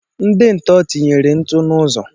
Ndị ntọ tinyere ntụ n'ụzọ